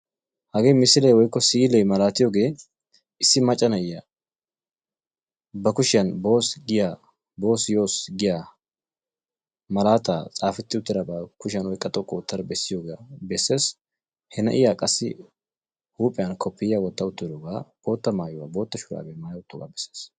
Hagee misilee woykko si'ilee malaatiyogee issi macca na'iya ba kushiyan boss giya boss yoss giya malaataa xaafetti uttidaba kushiyan oyqqa xoqqu oottada bessiyogaa besses. He na'iya qassi huuphiyan koppiyyiya wotta uttidoogaa bootta maayuwa bootta shuraabiya maaya uttoogaa besses.